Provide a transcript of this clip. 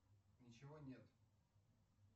ничего нет